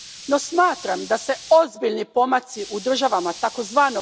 No smatram da se ozbiljni pomaci u državama tzv.